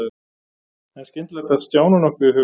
En skyndilega datt Stjána nokkuð í hug.